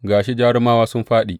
Ga shi, jarumawa sun fāɗi!